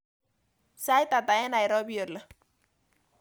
Sait ata eng nairobi oli